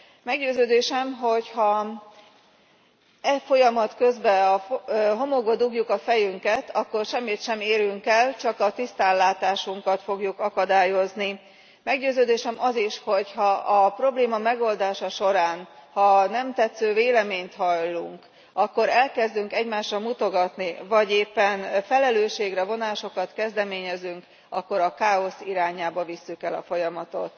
Meggyőződésem, hogy ha e folyamat közben a homokba dugjuk a fejünket, akkor semmit sem érünk el, csak a tisztánlátásunkat fogjuk akadályozni. Meggyőződésem az is, hogy ha a probléma megoldása során, ha nem tetsző véleményt hallunk, akkor elkezdünk egymásra mutogatni vagy éppen felelősségre vonásokat kezdeményezünk, akkor a káosz irányába visszük el a folyamatot.